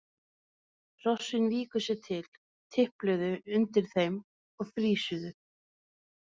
Hrossin viku sér til, tipluðu undir þeim og frýsuðu.